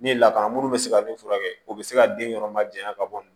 Ni lakana minnu bɛ se ka min furakɛ o bɛ se ka den yɔrɔ ma janya ka bɔ